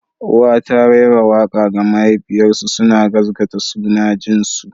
Uwa ta raira waƙa ga mahaifarsu suna gaskata suna jin su.